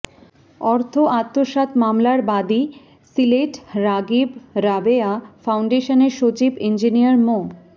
অর্থ আত্মসাৎ মামলার বাদী সিলেট রাগিব রাবেয়া ফাউন্ডেশনের সচিব ইঞ্জিনিয়ার মো